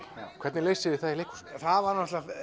hvernig leysið þið það í leikhúsinu það var